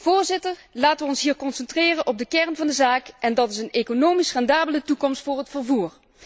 Voorzitter, laten we ons hier concentreren op de kern van de zaak en dat is een economisch rendabele toekomst voor het vervoer.